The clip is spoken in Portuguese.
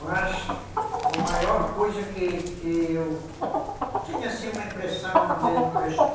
Mas a maior coisa que que eu tinha, assim, uma impressão de não prest